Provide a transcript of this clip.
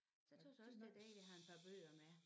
Så tøs jeg også det er dejligt at have en par bøger med